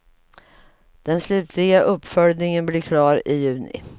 Den slutliga uppföljningen blir klar i juni.